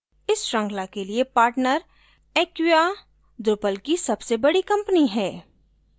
इस श्रृंखला के लिए partner acquia drupal की सबसे बड़ी company है